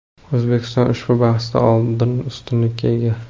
O‘zbekiston ushbu bahsdan oldin ustunlikka ega.